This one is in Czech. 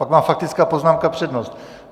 Pak má faktická poznámka přednost.